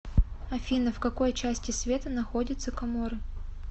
афина в какой части света находится коморы